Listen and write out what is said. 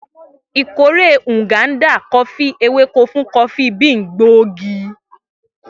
Ikore Nganda Kofi eweko fun kofi bean gbóògì.